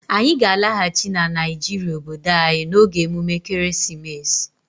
Anyị ga-alaghachi na Naijiria obodo anyị n'oge emume ekeresimesi.